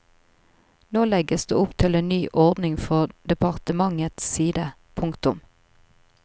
Nå legges det opp til en ny ordning fra departementets side. punktum